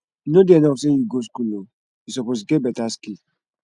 e no dey enough sey you go school o e suppose get beta skill